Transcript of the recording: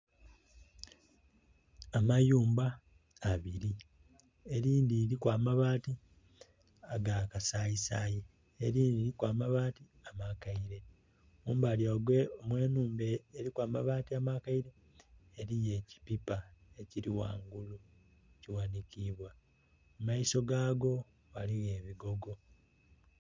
Amayumba abiri, elindi liriku amabaati aga kasayisayi, elindhi liriku amabaati amakaile. Mumbali omw'enumba eriku amabaati amakaile eriyo ekipipa ekiri ghangulu ekighanikiibwa mu maiso gaago ghaligho ebigogo